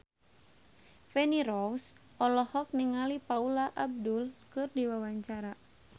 Feni Rose olohok ningali Paula Abdul keur diwawancara